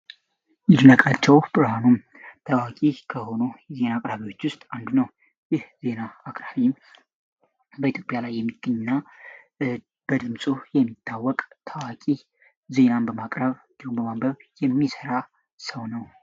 ይድነቃቸውህ ብርሃኑ ታዋቂ ከሆኖ የዜና አቅራቢዎች ውስጥ አንዱ ነው። ይህ ዜና አክራኒም በኢትዮጵያ ላይ የሚገኝና በድምፆ የሚታወቅ ታዋቂ ዜናን በማቅራብ ግሉበማንበብ የሚሠራ ሰው ነው።